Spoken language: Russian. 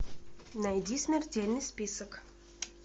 найди смертельный список